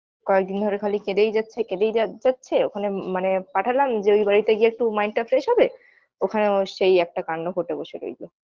কয়েকদিন ধরে খালি কেঁদেই যাচ্ছে কেঁদেই যা যাচ্ছে ওখানে মানে পাঠালাম যে ওই বাড়িতে গিয়ে একটু mind টা fresh হবে ওখানেও সেই একটা কান্ড ঘটে বসে রইল